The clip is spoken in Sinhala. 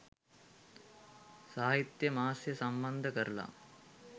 සාහිත්‍ය මාසය සම්බන්ධ කරලා